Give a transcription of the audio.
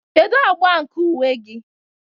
Kedu agba nke uwe gị?